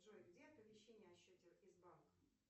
джой где оповещение о счете из банка